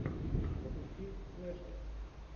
запусти слэшер